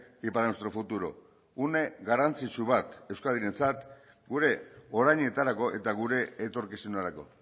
y para nuestro futuro une garrantzitsu bat euskadirentzat gure orainetarako eta gure etorkizunerako